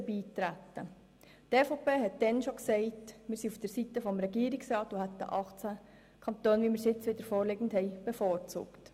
Die EVP sagte bereits damals, dass sie auf der Seite des Regierungsrats sei und hätte ein Quorum von 18 Kantonen, wie es jetzt wieder vorliegt, bevorzugt.